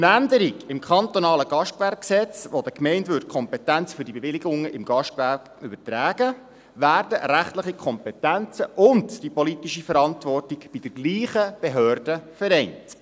Durch eine Änderung im kantonalen Gastgewerbegesetz (GGG), welche den Gemeinden die Kompetenzen für diese Bewilligungen im Gastgewerbe übertragen würde, werden rechtliche Kompetenzen und die politische Verantwortung bei derselben Behörde vereint.